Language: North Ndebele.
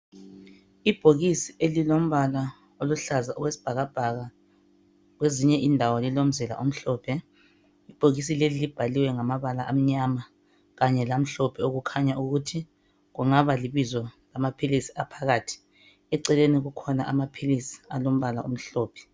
Ibhokisi elilombala oluhlaza owesibhakabhaka kwezinye indawo lilo omhlophe ibhokisi leli libhaliwe ngamabala anyama kanye lamhlophe okukhanya ukuthi kungaba libizo bani abaphilisi aphakathi eceleni kukhona amaphilisi alombala omhlophe